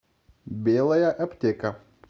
белая аптека